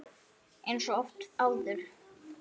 Eins og oft áður.